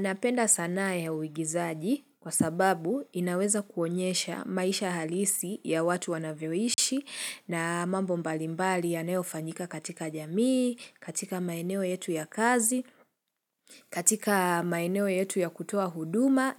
Napenda sanaa ya uigizaji kwa sababu inaweza kuonyesha maisha halisi ya watu wanavyoishi na mambo mbalimbali yanayo fanyika katika jamii, katika maeneo yetu ya kazi, katika maeneo yetu ya kutoa huduma